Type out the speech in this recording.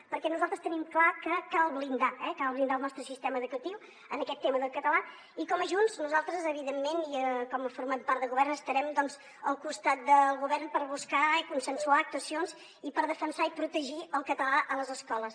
perquè nosaltres tenim clar que cal blindar el nostre sistema educatiu en aquest tema del català i com a junts nosaltres evidentment i com formem part del govern estarem al costat del govern per buscar i consensuar actuacions i per defensar i protegir el català a les escoles